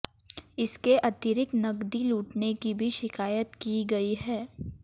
इसके अतिरिक्त नकदी लूटने की भी शिकायत की गई है